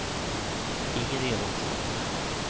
Inger Elofsson